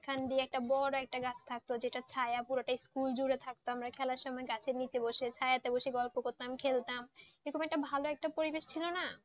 একটা বট গাছ থাকতো যেটা ছায়া পুরোটা স্কুল জুড়ে থাকতো আমরা খেলার সময় গাছের নিচে বসে ছায়াতে বসে গল্প করতাম খেলতাম, কিরকম একটা ভালো পরিবেশ ছিল না?